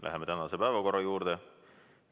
Läheme tänase päevakorra juurde.